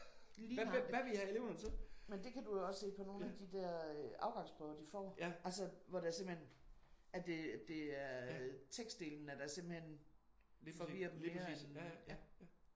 Lige nøjagtig. Men det kan du jo også se på nogle af de der øh afgangsprøver de får altså hvor det simpelthen at det det er tekstdelen at der simpelthen forvirrer dem mere end